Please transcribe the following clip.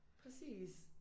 Præcis